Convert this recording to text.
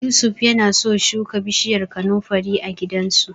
Yusuf yana so shuka bishiyar kanunfari a gidansu.